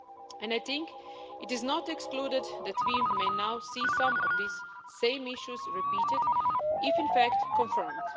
And I think it is not excluded that we may now see some of these same issues repeated if, in fact, confirmed.